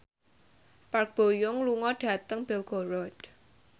Park Bo Yung lunga dhateng Belgorod